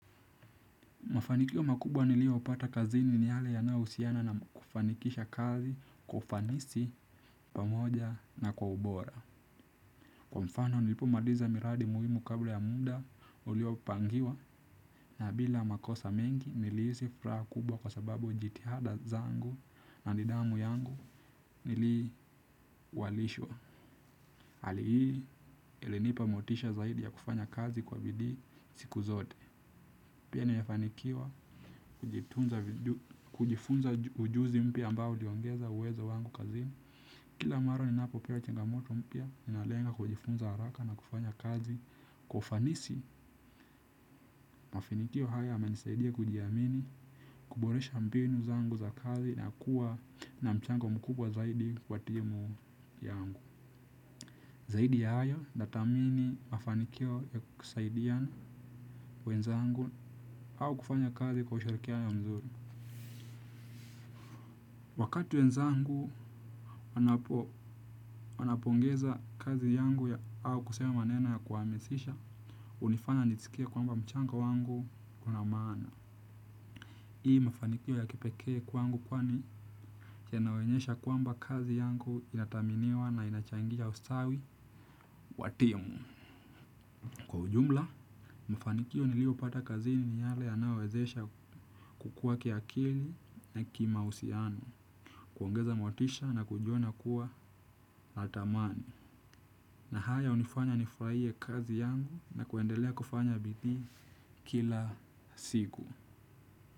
Mafanikio makubwa niliyoupata kazini ni yale yanayohusiana na kufanikisha kazi kwa ufanisi pamoja na kwa ubora. Kwa mfano nilipomaliza miradi muhimu kabla ya muda uliopangiwa na bila makosa mengi nilihisi fraha kubwa kwa sababu jitihada zangu na nidhamu yangu niliwalishwa. Hali hii ilinipa motisha zaidi ya kufanya kazi kwa bidii siku zote. Pia nimefanikiwa kujifunza ujuzi mpya ambayo uliongeza uwezo wangu kazini. Kila mara ninapopewa changamoto mpya ninalenga kujifunza haraka na kufanya kazi. Kwa ufanisi mafinikio haya yamenisaidia kujiamini kuboresha mbinu zangu za kazi na kuwa na mchango mkubwa zaidi kwa timu yangu. Zaidi ya hayo nathamini mafanikio ya kusaidia wenzangu au kufanya kazi kwa ushirikiano mzuri. Wakati wenzangu wanapongeza kazi yangu ya au kusema manena ya kuhamasisha, hunifanya niskie kwamba mchanga wangu una maana. Hii mafanikio ya kipekee kwangu kwani chenye naonyesha kwamba kazi yangu inathaminiwa na inachangisha ustawi wa timu. Ujumla, mafanikio niliyopata kazini ni yale yanayowezesha kukua kiakili na kimahusiano, kuongeza motisha na kujiona kuwa la thamani. Na haya hunifanya nifraie kazi yangu na kuendelea kufanya bidii kila siku.